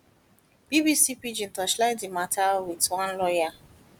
bbc pidgin torchlight di mata wit one lawyer